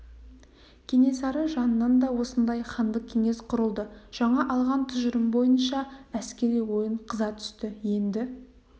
кенесары жанынан да осындай хандық кеңес құрылды жаңа алған тұжырым бойынша әскери ойын қыза түсті енді